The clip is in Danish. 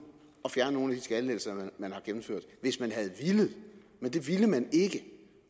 at fjerne nogle af de skattelettelser man har gennemført hvis man havde villet men det ville man ikke